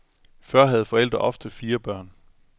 Før havde forældre ofte fire børn.